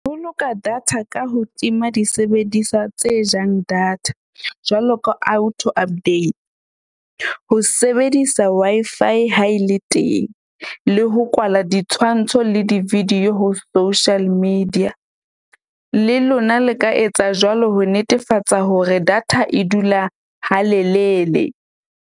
Ho boloka data ka ho tima disebediswa tse jang data jwalo ka auto update. Ho sebedisa Wi-Fi ha e le teng, le ho kwala ditshwantsho le di-video ho social media. Le lona le ka etsa jwalo ho netefatsa hore data e dula halelele.